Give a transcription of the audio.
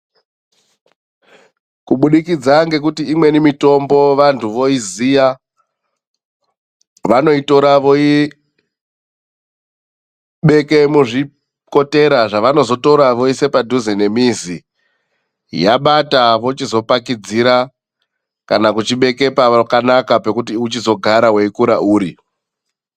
Kubudikidza ngekuti imweni mitombo vantu voiziya, vanoitora voibeke muzvikotera zvavanozotora voisa padhuze nemizi, yabata vochizopakidzira, kana kuchibeke pakanaka pekuti uchizogara weikura uri.